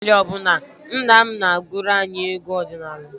Abalị ọ bụla, nna m na-agụrụ anyị egwu ọdịnala.